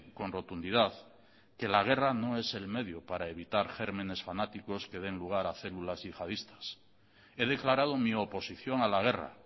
con rotundidad que la guerra no es el medio para evitar gérmenes fanáticos que den lugar a células yihadistas he declarado mi oposición a la guerra